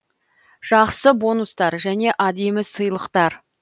жақсы бонустар және әдемі сыйлықтар